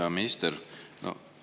Hea minister!